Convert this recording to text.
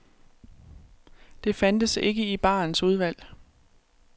Det fandtes ikke i barens udvalg.